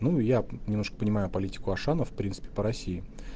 ну я немножко понимаю политику ашана в принципе по россии